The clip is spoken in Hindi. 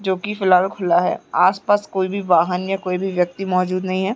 जोकी फ़िलहाल खुल्ला है आसपास कोई भी वाहन या कोई भी व्यक्ति मौजूद नहीं है।